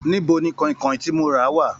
Níbo ní kọ̀ìnkọ̀ìn tí mó rà wá?